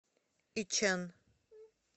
ичэн